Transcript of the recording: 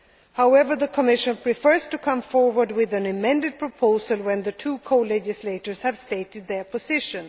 text. However, the Commission prefers to come forward with an amended proposal when the two co legislators have stated their